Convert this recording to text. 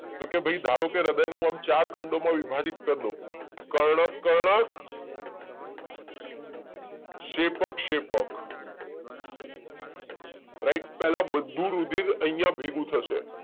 તો કે ભાઈ ધારો કે હૃદય નું આમ ચાર ખંડો માં વિભાજીત કરી દઉં કર્ણક-કર્ણક શેપક-શેપક રાઈટ પેહલ બધું રુધિર અહિયાં ભેગું થશે